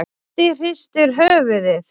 Doddi hristir höfuðið.